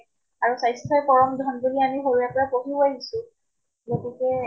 আৰু স্ৱাস্থ্যই পৰম ধন বুলি আমি সৰুৰে পৰা পঢ়িও আহিছো, গতিকে